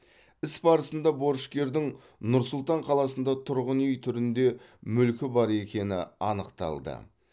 іс барысында борышкердің нұр сұлтан қаласында тұрғын үй түрінде мүлкі бар екені анықталды